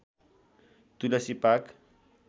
Tulsi park